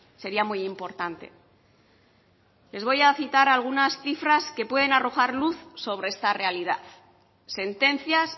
sería muy importante les voy a citar algunas cifras que pueden arrojar luz sobre esta realidad sentencias